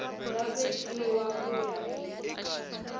nga vekiwa ku ya hi